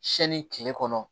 Siyɛnni tile kɔnɔ